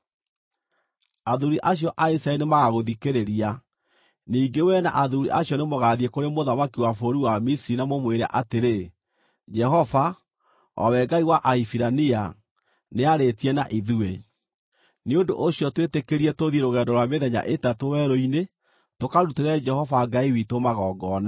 “Athuuri acio a Isiraeli nĩmagagũthikĩrĩria. Ningĩ wee na athuuri acio nĩmũgathiĩ kũrĩ mũthamaki wa bũrũri wa Misiri na mũmwĩre atĩrĩ, ‘Jehova, o we Ngai wa Ahibirania, nĩarĩtie na ithuĩ. Nĩ ũndũ ũcio twĩtĩkĩrie tũthiĩ rũgendo rwa mĩthenya ĩtatũ werũ-inĩ tũkarutĩre Jehova Ngai witũ magongona.’